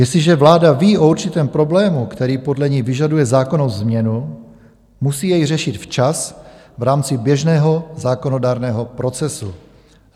Jestliže vláda ví o určitém problému, který podle ní vyžaduje zákonnou změnu, musí jej řešit včas v rámci běžného zákonodárného procesu.